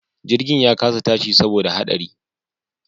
Jirgin ya kasa tashi saboda haɗari